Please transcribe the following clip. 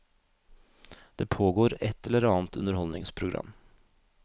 Det pågår et eller annet underholdningsprogram.